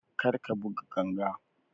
Kar ka buga ganga!